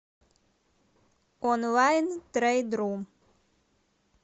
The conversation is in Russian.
онлайнтрейдру